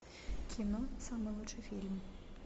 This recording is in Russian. кино самый лучший фильм